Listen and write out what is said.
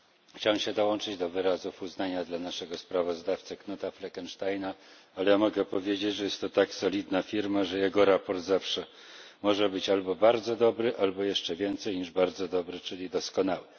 Chciałbym się dołączyć do wyrazów uznania dla naszego sprawozdawcy Knuta Fleckensteina, ale ja mogę powiedzieć, że jest to tak solidna firma, że jego sprawozdanie zawsze może być albo bardzo dobre, albo jeszcze więcej niż bardzo dobre, czyli doskonałe.